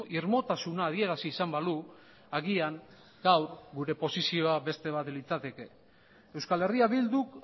irmotasuna adierazi izan balu agian gaur gure posizioa beste bat litzateke euskal herria bilduk